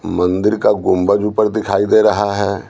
मंदिर का गुंबज ऊपर दिखाई दे रहा है।